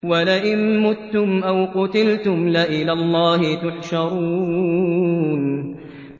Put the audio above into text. وَلَئِن مُّتُّمْ أَوْ قُتِلْتُمْ لَإِلَى اللَّهِ تُحْشَرُونَ